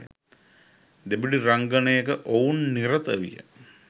දෙබිඩි රංගනයක ඔවුන් නිරත විය